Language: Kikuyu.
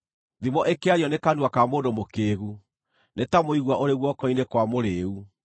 Thimo ĩkĩario nĩ kanua ka mũndũ mũkĩĩgu nĩ ta mũigua ũrĩ guoko-inĩ kwa mũrĩĩu.